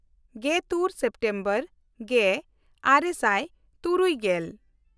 ᱜᱮᱛᱩᱨ September ᱜᱮᱼᱟᱨᱮ ᱥᱟᱭ ᱛᱩᱨᱩᱭ ᱜᱮᱞ